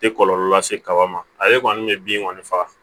Tɛ kɔlɔlɔ lase kaba ma ale kɔni ye bin kɔni faga